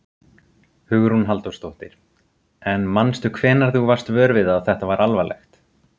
Hugrún Halldórsdóttir: En manstu hvenær þú varst vör við það að þetta var alvarlegt?